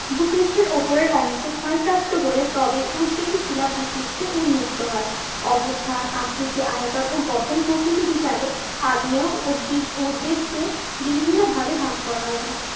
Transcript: ভূপৃষ্ঠের ওপরের অংশ ক্ষয়প্রাপ্ত হলে তবে উদবেধী শিলা ভূপৃষ্ঠে উন্মুক্ত হয়। অবস্থান আকৃতি আয়তন ও গঠন প্রকৃতি বিচারে আগ্নেয় উৎবেগকে বিভিন্ন ভাবে ভাগ করা যায়।